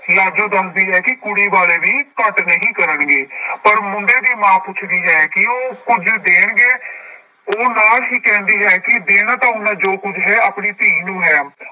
ਲਾਜੋ ਦੱਸਦੀ ਹੈ ਕਿ ਕੁੜੀ ਵਾਲੇ ਵੀ ਘੱਟ ਨਹੀਂ ਕਰਨਗੇ ਪਰ ਮੁੰਡੇ ਦੀ ਮਾਂ ਪੁੱਛਦੀ ਹੈ ਕਿ ਉਹ ਕੁੱਝ ਦੇਣਗੇ ਉਹ ਨਾਂ ਹੀ ਕਹਿੰਦੀ ਹੈ ਕਿ ਦੇਣਾ ਤਾਂ ਉਹਨਾਂ ਜੋ ਕੁੱਝ ਹੈ ਆਪਣੀ ਧੀ ਨੂੰ ਹੈ।